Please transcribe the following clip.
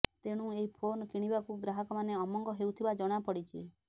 ତେଣୁ ଏହି ଫୋନ୍ କିଣିବାକୁ ଗ୍ରାହକମାନେ ଅମଙ୍ଗ ହେଉଥିବା ଜଣାପଡ଼ିଛି